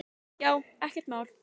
Já, ekkert mál!